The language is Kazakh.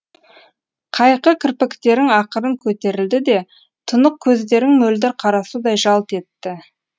қайқы кірпіктерің ақырын көтерілді де тұнық көздерің мөлдір қарасудай жалт етті